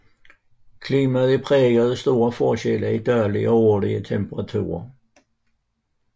Klimaet er præget af store forskelle i daglig og årlig temperatur